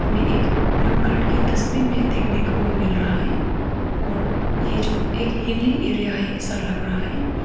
में एक blue colour की डस्टबिन भी देखने को मिल रहा है और ये जो एक हिली एरिया है ऐसा लग रहा है।